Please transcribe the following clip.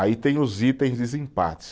Aí tem os itens desempate.